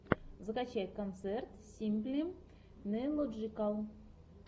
закачай концерт симпли нейлоджикал